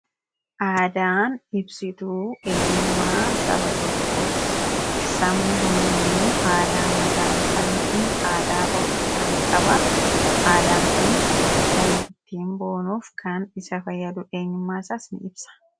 Aadaan ibsituu eenyummaa saba tokkooti. Sabni hundinuu aadaa mataa isaa yookaan aadaa ofii isaa ni qabaa aadaan kunis akka inni ofiin boonu, eenyummaa isaas ni ibsa